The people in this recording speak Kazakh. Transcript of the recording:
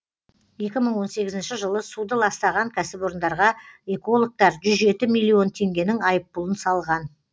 екі мың он сегізінші жылы суды ластаған кәсіпорындарға экологтар жүз жеті миллион теңгенің айыппұлын салған